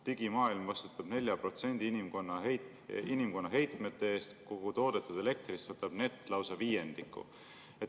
Digimaailm vastutab 4% inimkonna heitmete eest, kogu toodetud elektrist võtab nett lausa viiendiku.